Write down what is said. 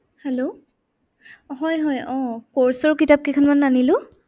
hello হয় হয় আহ course ৰ কিতাপ কেইখনমান আনিলো।